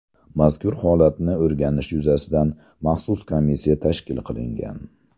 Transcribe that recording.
Mazkur holatni o‘rganish yuzasidan maxsus komissiya tashkil qilingan.